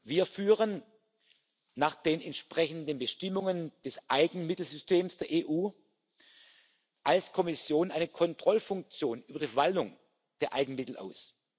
Wir üben nach den entsprechenden Bestimmungen des Eigenmittelsystems der EU als Kommission eine Kontrollfunktion über die Verwaltung der Eigenmittel aus.